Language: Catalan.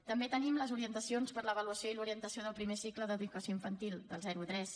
també tenim les orientacions per a l’avaluació i l’orientació del primer cicle d’educació infantil del zero a tres